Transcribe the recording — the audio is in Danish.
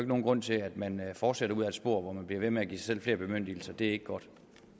nogen grund til at man fortsætter ud ad et spor hvor man bliver ved med at give sig selv flere bemyndigelser det er ikke godt